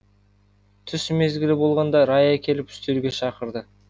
түс мезгілі болғанда рая келіп үстелге шақырды